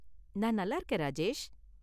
நான் நல்லா இருக்கேன், ராஜேஷ்.